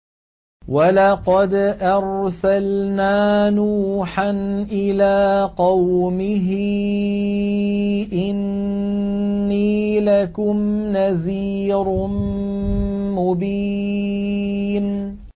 وَلَقَدْ أَرْسَلْنَا نُوحًا إِلَىٰ قَوْمِهِ إِنِّي لَكُمْ نَذِيرٌ مُّبِينٌ